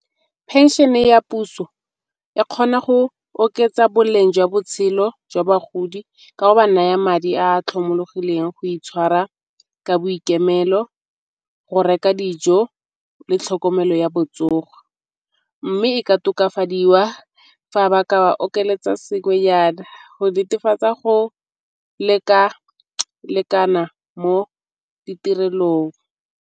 Phenšene ya puso e kgona go oketsa boleng jwa botshelo jwa bagodi ka go ba naya madi a tlhomologileng go itshwara ka boikemelo, go reka dijo le tlhokomelo ya botsogo. Mme e ka tokafadiwa fa ba ka ba okeletsa sengwe nyana go netefatsa go leka-lekana mo ditirelong.